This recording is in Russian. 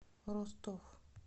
ростов